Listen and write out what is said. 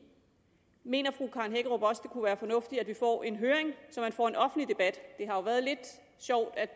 i mener fru karen hækkerup også det kunne være fornuftigt at vi får en høring så man får en offentlig debat det har været lidt sjovt at